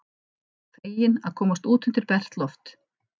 Feginn að komast út undir bert loft.